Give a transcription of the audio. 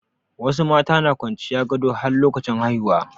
Wasu mata na kwanciyan gado har lokacin haihuwa.